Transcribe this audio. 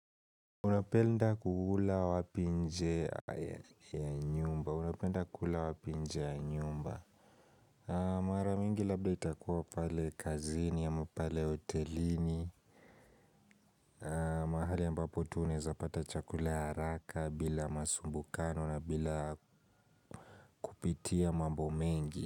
Unapenda kula wapi nje ya nyumba Unapenda kula wapi nje ya nyumba Mara mingi labda itakuwa pale kazini ama pale otelini mahali ambapo tunezapata chakula haraka bila masumbukano na bila kupitia mambo mengi.